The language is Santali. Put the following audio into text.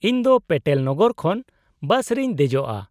-ᱤᱧ ᱫᱚ ᱯᱮᱴᱮᱞᱱᱚᱜᱚᱨ ᱠᱷᱚᱱ ᱵᱟᱥ ᱨᱮᱧ ᱫᱮᱡᱚᱜᱼᱟ ᱾